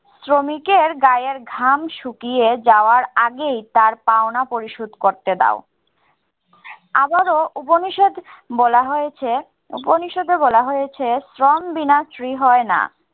শ্রমিকের গায়ের ঘাম শুকিয়ে যাওয়ার আগেই তার পাওনা পরিশোধ করতে দাও। আবারও উপনিষদ বলা হয়েছে উপনিষদে বলা হয়েছে, শ্রম বিনা শ্রী হয় না।